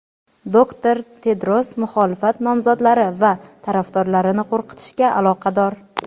doktor Tedros muxolifat nomzodlari va tarafdorlarini qo‘rqitishga aloqador.